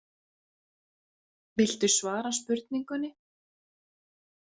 Viltu svara spurningunni?